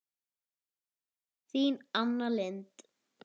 Þín Anna Lind.